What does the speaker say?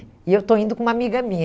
E eu estou indo com uma amiga minha.